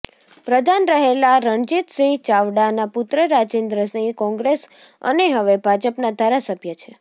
પ્રધાન રહેલા રણજિતસિંહ ચાવડાના પુત્ર રાજેન્દ્રસિંહ કોંગ્રેસ અને હવે ભાજપના ધારાસભ્ય છે